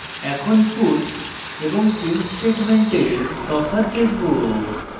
এখন puts এবং print স্টেটমেন্টের তফাৎ দেখব